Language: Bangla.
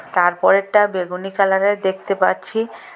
তার পরেরটা বেগুনি কালারের দেখতে পাচ্ছি।